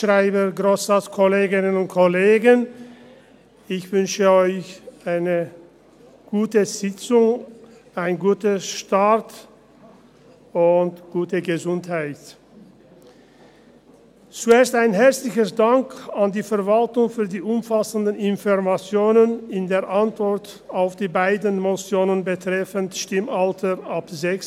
Zuerst einen herzlichen Dank an die Verwaltung für die umfassenden Informationen in der Antwort auf die beiden Motionen betreffend Stimmalter ab 16.